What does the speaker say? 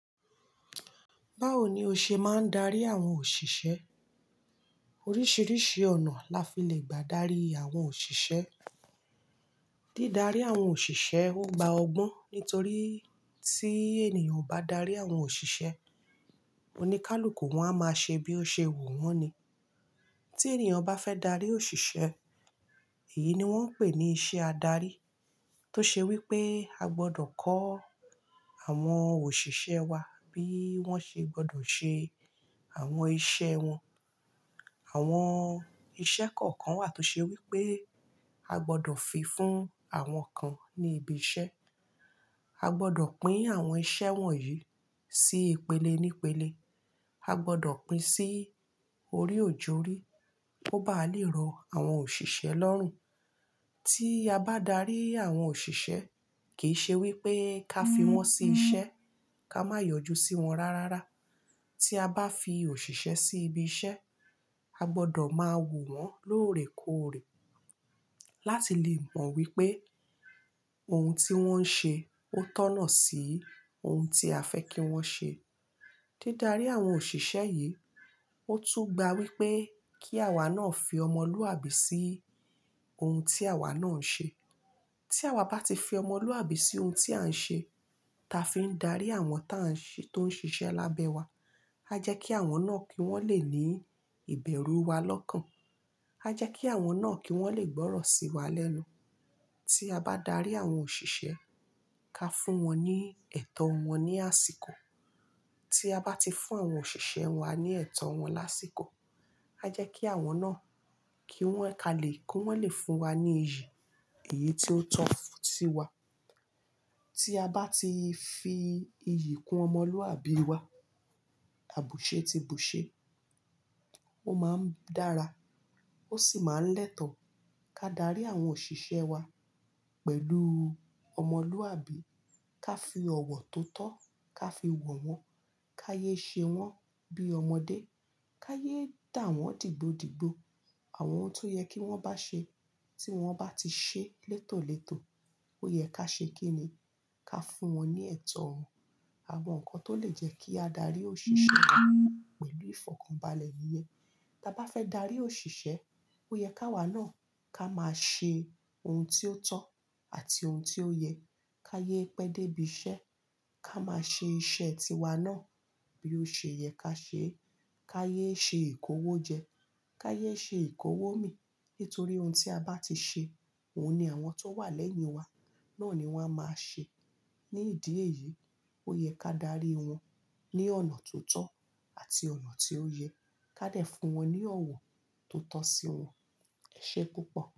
Báwo ni o ṣe máa ń darí àwọn òṣìṣẹ́? Oríṣìríṣì ọ̀nà la fi le gbà darí àwọn òṣìṣẹ́. Dídarí àwọn òṣìṣẹ́ ó gba ọgbọ́n ní torí tí ènìyàn ò bá darí àwọn òṣìṣẹ́, oníkálukú wọn a máa ṣe bí ó ṣe wù wọ́n ni. Tí ènìyàn bá fẹ́ darí òṣìṣẹ́, èyí ni wọ́n ń pè ní iṣẹ́ adarí. Tó ṣe wí pé a gbọdọ̀ kọ́ àwọn òṣìṣẹ́ wa bí wọ́n ṣe gbọdọ̀ ṣe àwọn iṣẹ́ wọn. Àwọn iṣẹ́ kọ̀ọ̀kan wà tó ṣe wí pé a gbọdọ̀ fi fún àwọn kan ní ibi iṣẹ́. A gbọdọ̀ pín àwọn iṣẹ́ wọ̀nyí sí ìpele nípele. A gbọdọ̀ pín sí orí òjórí kó bá le rọ àwọn òṣìṣẹ́ lọ́rùn. Tí a bá darí àwọn òṣìṣẹ́, kì í ṣe wí pé ká fi wọ́n ṣi iṣẹ́, ká má yọjú sí wọn rárára. Tí a bá fi òṣìṣẹ́ sí ibi iṣẹ́, a gbọdọ̀ máa wò wọ́n lóòrèkóòrè láti lè mọ̀ wípé ohun tí wọ́n ń ṣe ó tọ̀nà sí ohun tí a fẹ́ kí wọ́n ṣe. Dídarí àwọn òṣìṣẹ́ yìí, ó tún gba wípé kí àwa náà fi ọmọlúàbí sí ohun tí àwa náà ń ṣe. Tí àwa bá ti fi ọmọlúàbí sí ohun tí à ń ṣe, ta fi ń darí àwọn táa ń ṣe tó ń ṣiṣẹ́ lábẹ́ wa. A jẹ́ kí àwọn náà kí wọ́n lè ní ìbẹ̀rù wa lọ́kàn. A jẹ́ kí àwọn náà kí wọ́n lè gbọ́rọ̀ sí wa lẹ́nu. Tí a bá darí àwọn òṣìṣẹ́, ká fún wọn ní ẹ̀tọ́ wọn ní àsìkò. Tí a bá ti fún àwọn òṣìṣẹ́ wa ní ẹ̀tọ́ wọn lásìkò, a jẹ́ kí àwọn náà kí wọ́n ka lè kí wọ́n lè fún wa ní iyì èyí tió tọ́ sí wa. Tí a bá ti fi iyì kún ọmọlúàbí wa, àbùṣé ti bùṣé. Ó máa ń dára, ó sì máa ń lẹ́tọ̀. Ka darí àwọn òṣìṣẹ́ wa pẹ̀lú ọmọlúàbí. Ka fi ọ̀wọ̀ tó tọ́, ka fi wọ̀ wọ́n, ká yé ṣe wọ́n bí ọmọdé. Ká yé dà wọ́n dìgbodìgbo. Àwọn ohun tó yẹ kí wọ́n bá ṣe tí wọ́n bá ti ṣe létọ̀lẹ́tọ̀, ó yẹ ká ṣe kíni. Ka fún wọn ní ẹ̀tọ́. Àwọn nǹkan tó lè jẹ́ kí a darí òṣìṣẹ́ wa pẹ̀lú ìfọ̀kànbalẹ̀ ni yen. Ta bá fẹ́ darí òṣìṣẹ́, ó yẹ ka awa náà ká máa ṣe ohun tí ó tọ́ àti ohun tí ó yẹ. Ká yé pẹ́ dé ibi iṣẹ́. Ká máa ṣe iṣẹ́ ti wa náà bí ó ṣe yẹ ká ṣe. Ká yé ṣe ìkówó jẹ. Ká yé ṣe ìkówó mì. Nítorí ohun tí a bá ti ṣe, òhun ni àwọn tó wà lẹ́yìn wa náà ni wọ́n a máa ṣe. Ni ìdí èyí, ó yẹ ká darí wọn ní ọ̀nà tó tọ́ àti ọ̀nà tí ó yẹ. Ká dè fún wọn ní ọ̀wọ̀ tó tọ́ sí wọn. E se púpọ̀.